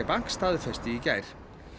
Bank staðfesti í gær